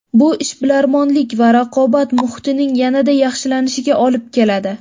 Bu ishbilarmonlik va raqobat muhitining yanada yaxshilanishiga olib keladi.